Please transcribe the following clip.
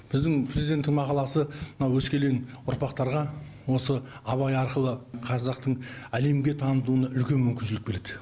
біздің президенттің мақаласы мына өскелең ұрпақтарға осы абай арқылы қазақтың әлемге танытуына үлкен мүмкіншілік береді